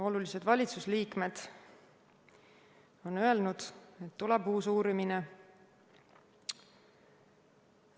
Olulised valitsusliikmed on öelnud, et tuleb uus uurimine.